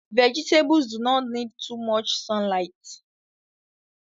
Vegetables do not need too much sunligt